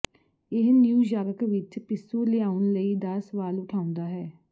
ਇਸ ਨਿਊਯਾਰਕ ਵਿਚ ਪਿੱਸੂ ਲਿਆਉਣ ਲਈ ਦਾ ਸਵਾਲ ਉਠਾਉਦਾ ਹੈ